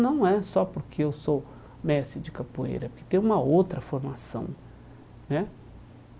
Não é só porque eu sou mestre de capoeira, porque tem uma outra formação né.